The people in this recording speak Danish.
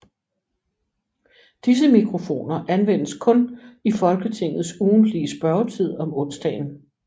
Disse mikrofoner anvendes kun i Folketingets ugentlige spørgetid om onsdagen